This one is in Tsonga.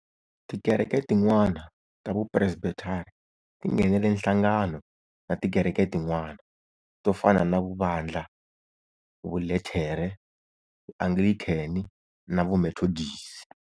Tikereke tin'wana ta vu Presbethari ti nghenele nhlangano na tikereke tin'wana, to fana na Vu Vandla, Vu Luthere, Vu Anglikheni na Vu Methodisi.